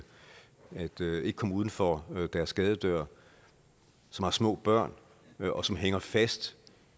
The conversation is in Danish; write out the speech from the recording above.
komme uden for deres gadedør som har små børn og som hænger fast